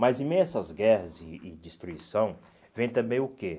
Mas em meio a essas guerras e e destruição, vem também o quê?